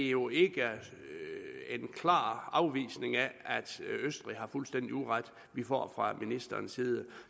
jo ikke en klar afvisning af at østrig har fuldstændig uret vi får fra ministerens side